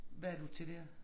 Hvad er du til dér